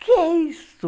O que é isso?